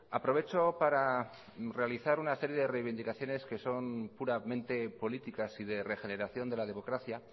aprovecho para realizar una serie de reivindicaciones que son puramente políticas y de regeneración de la democracia